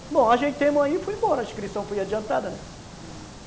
Bom, a gente terminou aí e foi embora, a inscrição foi adiantada, né? Uhum.